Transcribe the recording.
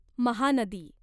Mahanadi